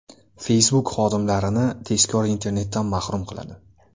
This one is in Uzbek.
Facebook xodimlarini tezkor internetdan mahrum qiladi.